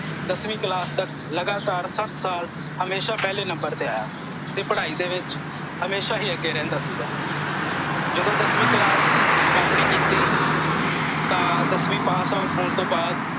ਦਸਵੀਂ ਕਲਾਸ ਤਕ ਲਗਾਤਾਰ ਸੱਤ ਸਾਲ ਹਮੇਸ਼ਾ ਪਹਿਲੇ ਨੰਬਰ ਤੇ ਆਇਆ ਤੇ ਪੜ੍ਹਾਈ ਦੇ ਵਿੱਚ ਹਮੇਸ਼ਾ ਹੀ ਅੱਗੇ ਰਹਿੰਦਾ ਸੀਗਾ। ਜਦੋਂ ਦਸਵੀਂ ਕਲਾਸ ਵਾਪਣੀ ਕੀਤੀ ਤਾਂ ਦਸਵੀਂ pass out ਹੋਣ ਤੋਂ ਬਾਅਦ